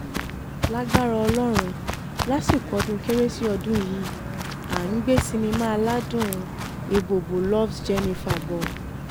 lagbára ọlọ́run lásìkò ọdún kérésì ọdún yìí à ń gbé sinimá aládùn ebobo loves jennifer bọ̀